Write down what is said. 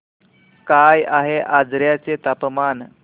काय आहे आजर्याचे तापमान